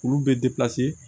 Olu bɛ